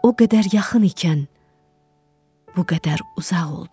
O qədər yaxın ikən, bu qədər uzaq oldun?